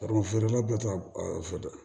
Garibu feerela bɛɛ ta fɔ dɛ